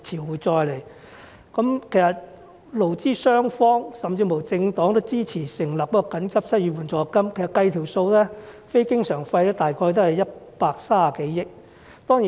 其實勞資雙方，甚至政黨均支持緊急推行失業援助金計劃，經過運算，非經常開支預算約是130多億元。